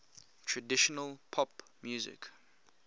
traditional pop music